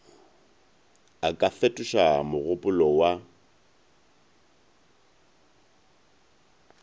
a ka fetoša mogopolo wa